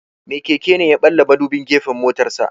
Mai keke ne ya ɓalla madubin gefen motarsa.